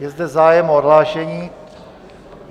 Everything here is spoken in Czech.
Je zde zájem o odhlášení.